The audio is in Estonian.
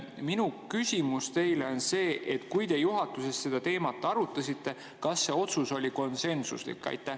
Minu küsimus teile on see: kui te juhatuses seda teemat arutasite, kas see otsus oli konsensuslik?